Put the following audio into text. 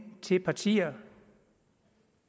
til partier